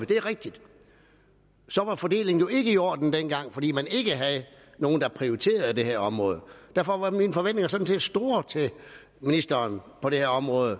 det er rigtigt så var fordelingen jo ikke i orden dengang fordi man ikke havde nogen der prioriterede det her område derfor var mine forventninger sådan set store til ministeren for det her område